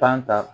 ta